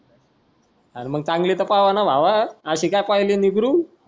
आरे मग चांगली तर पाव न भावा अशी का पाहली निगरूम.